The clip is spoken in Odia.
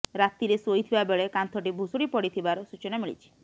ରାତିରେ ଶୋଇଥିବା ବେଳେ କାନ୍ଥଟି ଭୁଶୁଡି ପଡିଥିବାର ସୂଚନା ମିଳିଛି